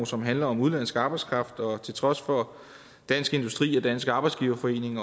som handler om udenlandsk arbejdskraft og til trods for dansk industri og dansk arbejdsgiverforening